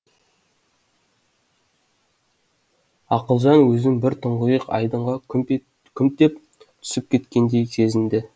ақылжан өзін бір тұңғиық айдынға күмп деп түсіп кеткендей сезінді